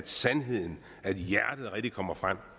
sandheden rigtig kommer fra